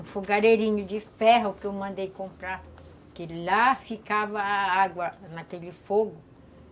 Um fogareirinho de ferro que eu mandei comprar, que lá ficava água naquele fogo.